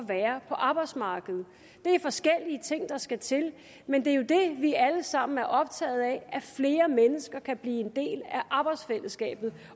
være på arbejdsmarkedet det er forskellige ting der skal til men det er jo det vi alle sammen er optaget af at flere mennesker kan blive en del af arbejdsfællesskabet